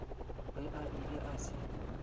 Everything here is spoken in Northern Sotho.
ge a ile a se